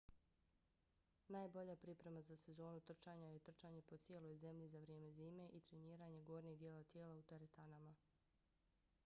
najbolja priprema za sezonu trčanja je trčanje po cijeloj zemlji za vrijeme zime i treniranje gornjeg dijela tijela u teretanama